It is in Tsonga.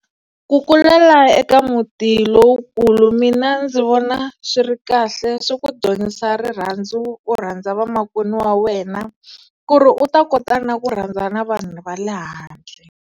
Ku kulela eka muti lowukulu mina ndzi vona swi ri kahle swi ku dyondzisa rirhandzu u rhandza vamakwenu wa wena, ku ri u ta kota na ku rhandza na vanhu va le handle.